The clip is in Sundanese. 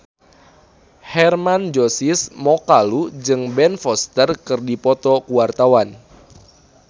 Hermann Josis Mokalu jeung Ben Foster keur dipoto ku wartawan